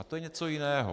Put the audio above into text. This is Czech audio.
A to je něco jiného.